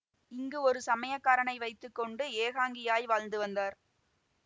இங்கு ஒரு சமையற்காரனை வைத்து கொண்டு ஏகாங்கியாய் வாழ்ந்து வந்தார்